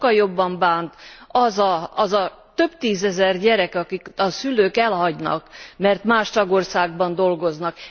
sokkal jobban bánt az a több tízezer gyerek, akiket a szülők elhagynak, mert más tagországban dolgoznak.